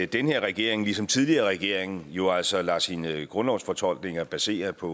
den her regering ligesom tidligere regeringer jo altså lader sine grundlovsfortolkninger basere på